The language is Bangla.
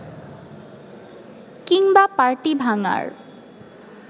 কিংবা পার্টি ভাঙার